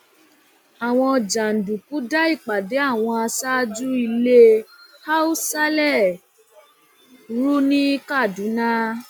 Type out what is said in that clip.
àwọn jàǹdùkú da ìpàdé àwọn aṣáájú ilé haúsálẹ rú ní kaduna